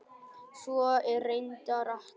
Svo er reyndar ekki.